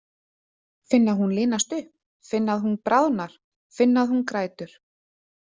Finn að hún linast upp, finn að hún bráðnar, finn að hún grætur.